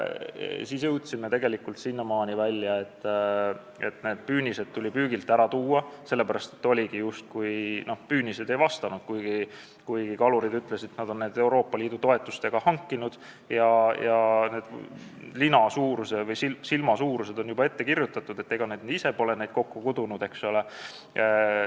Siis jõudsime sinnamaani välja, et püünised tuli püügilt ära korjata, sest need justkui ei vastanud nõuetele, kuigi kalurid ütlesid, et nad on need Euroopa Liidu toetustega hankinud ja silmasuurused on ette kirjutatud olnud, ega nad ise pole neid kokku kudunud, eks ole.